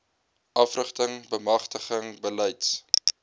afrigting bemagtiging beleids